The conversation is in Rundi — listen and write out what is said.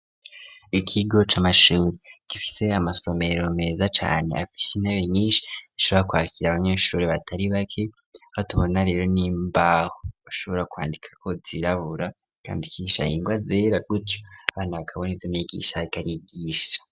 Ikigo c'amashure gifise amasomero meza cane afisi intebe nyinshi ishobora kwakira abanyesure batari bake aha tubona rero n'imbaho ashobora kwandikako zirabura kandi ugashobora kwandikisha ingwa zera gutyo abana bakabona ivyo umwigisha ariko arigisha.